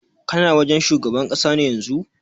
Kana wajen shugaban ƙasa ne yanzun?